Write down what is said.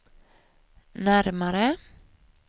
närmare